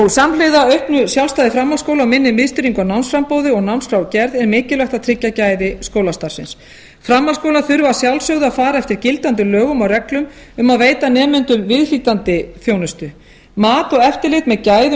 samhliða auknu sjálfstæði framhaldsskóla og minni miðstýringu á námsframboði og námráðgerð er mikilvægt að tryggja gæði skólastarfsins framhaldsskólar þurfa að sjálfsögðu að fara eftir gildandi lögum og reglum að veita nemendum viðhlítandi þjónustu mat og eftirlit með gæðum skólastarfs